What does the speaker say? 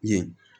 Ɲɛ